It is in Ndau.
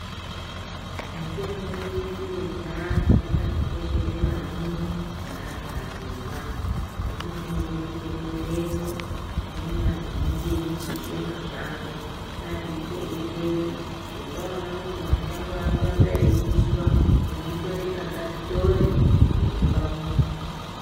Mitombo yedu yechianhu yakatikoshere maningi seantu atema hino inode kuchengetedzwa tinoona vazhinji veipishe mashango ngatichengetedze kuti tawona kuti mashango arikuramba eyipishwa chinotoreka ngatitore tisime pamuzi.